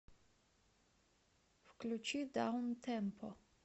включи даунтемпо